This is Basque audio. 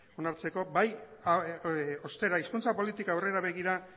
onartzeko bai ostera hizkuntza politika aurrera begira